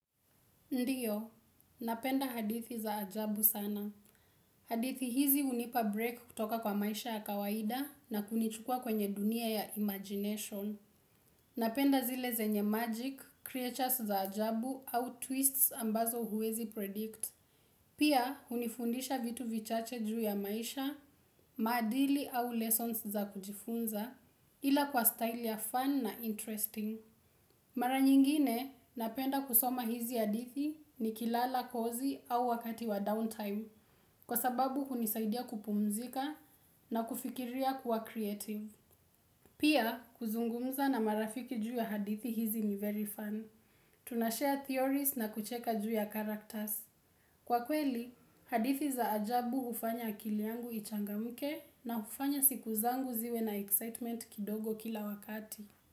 Ndiyo. Napenda hadithi za ajabu sana. Hadithi hizi unipa break kutoka kwa maisha ya kawaida na kunichukua kwenye dunia ya imagination. Napenda zile zenye magic, creatures za ajabu au twists ambazo huwezi predict. Pia hunifundisha vitu vichache juu ya maisha, maadili au lessons za kujifunza, ila kwa style ya fun na interesting. Mara nyingine napenda kusoma hizi hadithi ni kilala kozi au wakati wa downtime Kwa sababu kunisaidia kupumzika na kufikiria kuwa creative Pia kuzungumza na marafiki juu ya hadithi hizi ni very fun Tunashare theories na kucheka juu ya characters Kwa kweli, hadithi za ajabu ufanya kiliangu ichangamuke na ufanya siku zangu ziwe na excitement kidogo kila wakati.